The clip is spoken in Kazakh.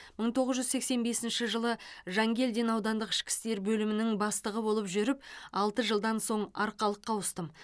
мың тоғыз жүз сексен бесінші жылы жанкелдин аудандық ішкі істер бөлімінің бастығы болып жүріп алты жылдан соң арқалыққа ауыстым